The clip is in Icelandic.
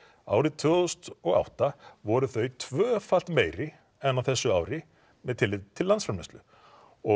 árið tvö þúsund og átta voru þau tvöfalt meiri en á þessu ári með tilliti til landsframleiðslu og